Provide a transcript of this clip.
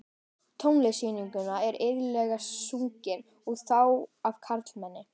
Tónlist sígauna er iðulega sungin, og þá af karlmanni.